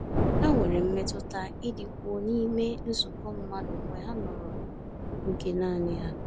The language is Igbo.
Ha nwere mmetụta ịdịkwuo n’ime nzukọ mmadụ mgbe ha nọrọ oge naanị ha.